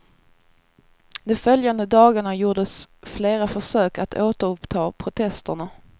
De följande dagarna gjordes flera försök att återuppta protesterna.